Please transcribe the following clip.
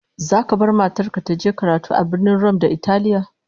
Zaka bar matar ka ta je karatu a Birnin Rum na Italiya?